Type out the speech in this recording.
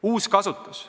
Uuskasutus.